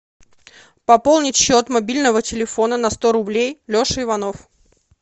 пополнить счет мобильного телефона на сто рублей леша иванов